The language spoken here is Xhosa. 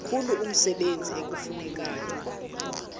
mkhulu umsebenzi ekufuneka